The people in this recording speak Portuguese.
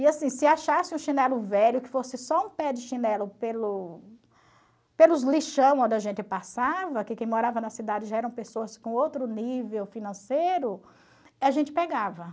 E assim, se achasse um chinelo velho que fosse só um pé de chinelo pelo pelos lixão onde a gente passava, que quem morava na cidade já eram pessoas com outro nível financeiro, a gente pegava.